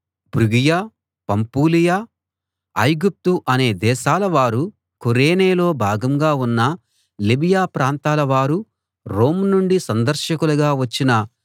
ఫ్రుగియ Pamphylia ఐగుప్తు అనే దేశాల వారూ కురేనేలో భాగంగా ఉన్న లిబియ ప్రాంతాలవారూ రోమ్ నుండి సందర్శకులుగా వచ్చిన